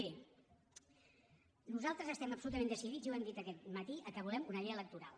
miri nosaltres estem absolutament decidits i ho hem dit aquest matí que volem una llei electoral